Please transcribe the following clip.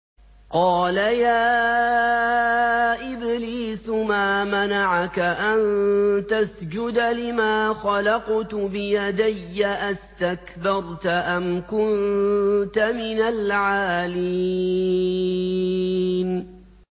قَالَ يَا إِبْلِيسُ مَا مَنَعَكَ أَن تَسْجُدَ لِمَا خَلَقْتُ بِيَدَيَّ ۖ أَسْتَكْبَرْتَ أَمْ كُنتَ مِنَ الْعَالِينَ